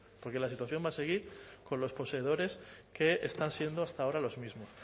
porque la situación va a seguir con los poseedores que están siendo hasta ahora los mismo